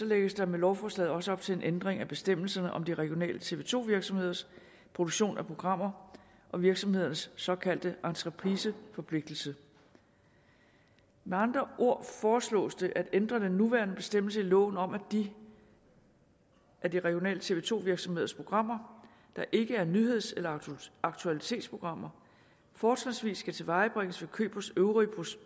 lægges der med lovforslaget også op til en ændring af bestemmelserne om de regionale tv to virksomheders produktion af programmer og virksomhedernes såkaldte entrepriseforpligtelse med andre ord foreslås det at ændre den nuværende bestemmelse i loven om at de af de regionale tv to virksomheders programmer der ikke er nyheds eller aktualitetsprogrammer fortrinsvis skal tilvejebringes ved køb hos øvrige